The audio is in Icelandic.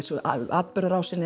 atburðarásinni